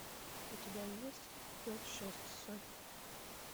у тебя есть эпизод шесть сотня